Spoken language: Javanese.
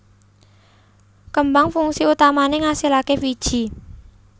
Kembang fungsi utamané ngasilaké wiji